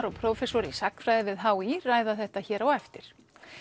og prófessor í sagnfræði við h í ræða þetta hér á eftir